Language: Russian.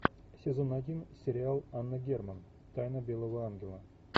сезон один сериал анна герман тайна белого ангела